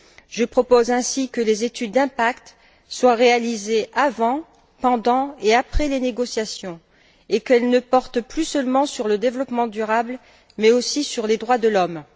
Je propose ainsi que les études d'impact soient réalisées avant, pendant et après les négociations et qu'elles ne portent plus seulement sur le développement durable mais aussi sur les droits de l'homme.